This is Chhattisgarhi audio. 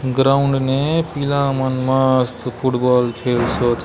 ग्राउंड ने पीला मन मस्त फुटबॉल खेलसोत।